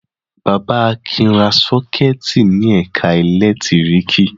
Bàbá Akin ra sọ́kẹ́tì ní ẹ̀ka ẹ̀lẹ́tíríkì.